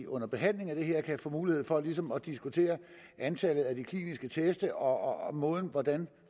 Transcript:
under behandlingen af det her forslag kan få mulighed for ligesom at diskutere antallet af de kliniske test og og den